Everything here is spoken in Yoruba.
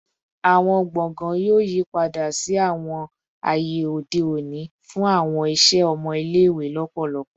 Awọn gbọngàn yoo yipada si awọn aye ode oni fun awọn iṣẹ ọmọ ile-iwe lọpọlọpọ